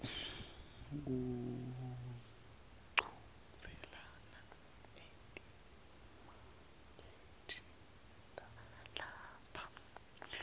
kuchudzelana etimakethe talapha